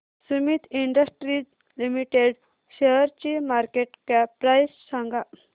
Sumeet industries limited शेअरची market cap price सांगा